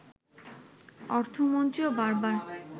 অর্থমন্ত্রীও বারবার